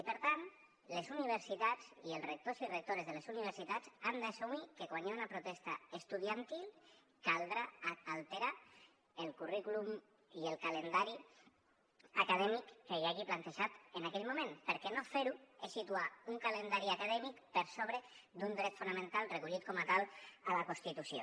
i per tant les universitats i els rectors i rectores de les universitats han d’assumir que quan hi ha una protesta estudiantil caldrà alterar el currículum i el calendari acadèmic que hi hagi plantejat en aquell moment perquè no fer ho és situar un calendari acadèmic per sobre d’un dret fonamental recollit com a tal a la constitució